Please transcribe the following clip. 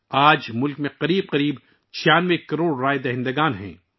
آج ملک میں تقریباً 96 کروڑ رائے دہندگان ہیں